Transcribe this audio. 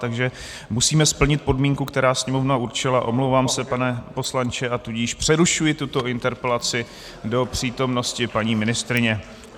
Takže musíme splnit podmínku, kterou Sněmovna určila, omlouvám se, pane poslanče, a tudíž přerušuji tuto interpelaci do přítomnosti paní ministryně.